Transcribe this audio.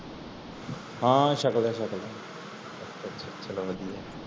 ਹਨ ਸ਼ਾਖ ਲਿਆ ਸ਼ਾਖ ਲਿਆ ਅੱਛਾ ਚਲੋ ਵਾਦੀਆਂ